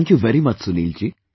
Thank you very much Sunil ji